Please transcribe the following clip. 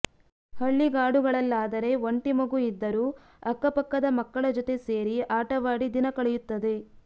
ಹಳ್ಳಿಗಾಡುಗಳಲ್ಲಾದರೆ ಒಂಟಿ ಮಗು ಇದ್ದರೂ ಅಕ್ಕಪಕ್ಕದ ಮಕ್ಕಳ ಜೊತೆ ಸೇರಿ ಆಟವಾಡಿ ದಿನ ಕಳೆಯುತ್ತದೆ